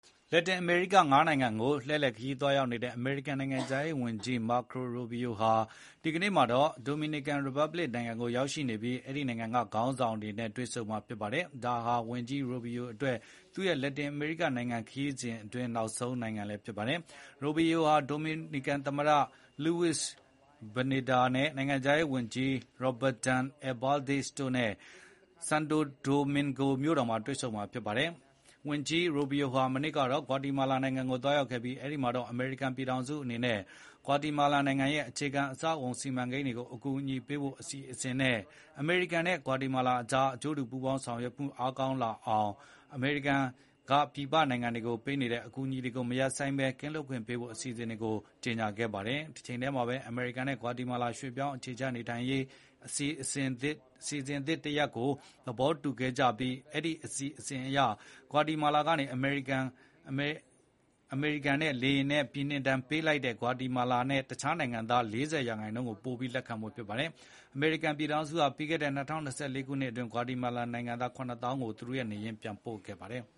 လက်တင်အမေရိကနိုင်ငံတွေကိုသွားရောက်နေတဲ့ အမေရိကန်နိုင်ငံခြားရေးဝန်ကြီး Marco Rubio ဟာ ဒီနေ့မှာတော့ ဒိုမီနီကန်နိုင်ငံခေါင်းဆောင်တွေနဲ့ တွေ့ဆုံဆွေးနွေးဖို့ ဒိုမီနီကန်ရီပတ်ဘလစ်နိုင်ငံကို ရောက်နေပါတယ်။ ဒါဟာ ဝန်ကြီး Rubio အတွက် သူရဲ့လက်တင်အမေရိကနိုင်ငံ ခရီးစဉ်အတွင်း နောက်ဆုံးသွားရောက်တဲ့နိုင်ငံဖြစ်ပါတယ်။ ဝန်ကြီး Rubio ဟာ ဒိုမီနီကန်သမ္မတ Luis Abinadar ၊ နိုင်ငံခြားရေးဝန်ကြီး Roberton Alvarez တို့ နဲ့ ဆန်တိုဒိုမင်ဂိုမြို့တော်မှာ တွေ့ဆုံမှာဖြစ်ပါတယ်။ ဝန်ကြီးရူဘီယိုဟာ မနေ့ကတော့ ဂွါတီမာလာနိုင်ငံကိုသွားရောက်ခဲ့ပြီး အမေရိကန်ပြည်ထောင်စုအနေနဲ့ ဂွါတီမာလာနိုင်ငံရဲ့ အခြေခံအဆောက်အအုံစီမံကိန်းအသစ်တွေကိုအကူအညီပေးဖို့အစီအစဉ်တွေနဲ့ အမေရိကန်နဲ့ ဂွါတီမာလာကြား အကျိုးတူဆောင်ရွက်မှုတွေ အားကောင်းလာအောင် အမေရိကန်က ပြည်ပနိုင်ငံတွေကို ပေးနေတဲ့ အကူအညီတွေကိုမရပ်ဆိုင်းဘဲ ကင်းလွတ်ခွင့်ပေးဖို့ အစီအစဉ်တွေကို ကြေညာခဲ့ပါတယ်။ တချိန်တည်းမှာပဲ အမေရိကန်နဲ့ ဂွါတီမာလာကြား ရွှေ့ပြောင်းအခြေချနေထိုင်ရေး အစီအစဉ်သစ် တရပ်ကို သဘောတူခဲ့ကြပြီး အဲဒီအစီအစဉ်အရ ဂွါတီမာလာအနေနဲ့ အမေရိကန်ကနေ လေယာဉ်နဲ့ ပြည်နှင်ဒဏ်ပေးလိုက်တဲ့ ဂွါတီမာလာနဲ့တခြားနိုင်ငံသား ၄၀ %. ပိုပြီး လက်ခံဖို့ဖြစ်ပါတယ်။ အမေရိကန်ပြည်ထောင်စုဟာ ပြီးခဲ့တဲ့ ၂၀၂၄ ခုနှစ်အတွင်း ဂွါတီမာလာနိုင်ငံသား ၇ သောင်းလောက်ကို သူတို့ရဲ့ နေရပ်ရင်းကို ပြန်ပို့ခဲ့ပါတယ်။